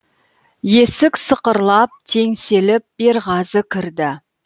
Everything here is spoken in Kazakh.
есік сықырлап теңселіп берғазы кірді